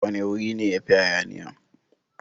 Wane wuri ne yafi hayaniya?